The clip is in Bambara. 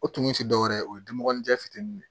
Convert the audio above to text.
O tumu ti dɔwɛrɛ ye o ye denmuguni jɛ fitininw ye